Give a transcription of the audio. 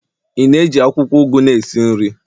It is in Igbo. Ị na-eji akwụkwọ ugu na-esi nri?